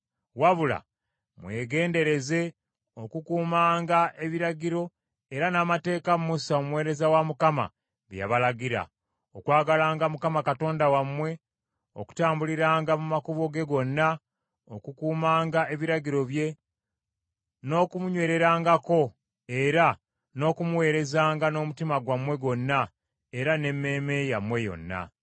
Wabula mwegendereze okukuumanga ebiragiro era n’amateeka Musa omuweereza wa Mukama bye yabalagira: okwagalanga Mukama Katonda wammwe, okutambuliranga mu makubo ge gonna, okukuumanga ebiragiro bye, n’okumunywererangako era n’okumuweerezanga n’omutima gwammwe gwonna era n’emmeeme yammwe yonna.”